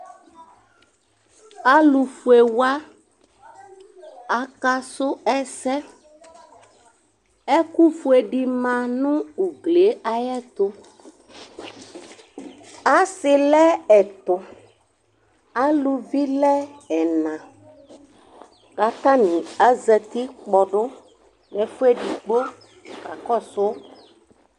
Alʋfue wa, akasʋ ɛsɛ Ɛkʋfue dɩ ma nʋ ugli yɛ ayɛtʋ Asɩ lɛ ɛtʋ Aluvi lɛ ɛna kʋ atanɩ azati kpɔdʋ nʋ ɛfʋ edigbo kakɔsʋ